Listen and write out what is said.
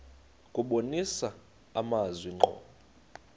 kubonisa amazwi ngqo